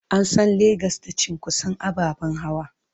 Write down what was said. An san Legas da cunkoson ababen hawa.